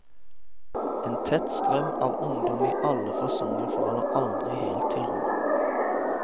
En tett strøm av ungdom i alle fasonger faller aldri helt til ro.